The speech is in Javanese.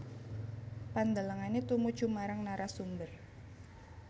Pandelengane tumuju marang narasumber